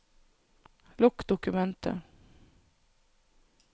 Lukk dokumentet